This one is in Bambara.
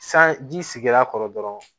San ji sigira a kɔrɔ dɔrɔn